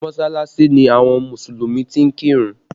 Mọsalasi ni àwọn Mùsùlùmí ti ń kí ìrun